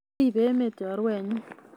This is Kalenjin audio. Ribe emet chorwenyu